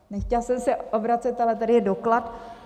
Nechtěla jsem se obracet, ale tady je doklad.